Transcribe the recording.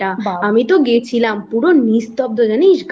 আমিতো গেছিলাম পুরো নিস্তব্ধ জানিস গা